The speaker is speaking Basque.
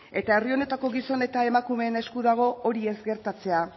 eta herri honetako gizon eta emakumeen esku dago hori ez gertatzea